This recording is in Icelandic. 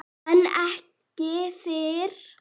En ekki fyrr.